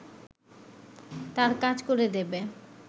তার কাজ করে দেবে